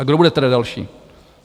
A kdo bude tedy další?